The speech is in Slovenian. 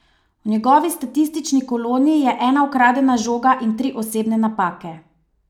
V njegovi statistični koloni je ena ukradena žoga in tri osebne napake.